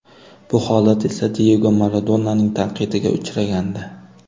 Bu holat esa Diyego Maradonaning tanqidiga uchragandi.